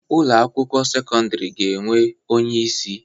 Ụlọ akwụkwọ sekọndrị ga-enwe onye isi